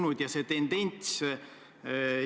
No ma ütlen, et see käsitlus on olnud erinev.